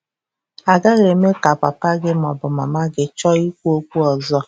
agaghị eme ka papa gị ma ọ bụ mama gị chọọ ikwu okwu ọzọ.